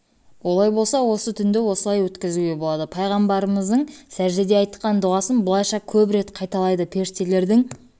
олай болса осы түнді осылай өткізуге болады пайғамбарымыздың сәждеде айтқан дұғасын былайша көп рет қайталайды періштелердің